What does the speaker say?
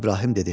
İbrahim dedi: